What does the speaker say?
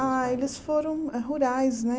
Ah, eles foram rurais, né?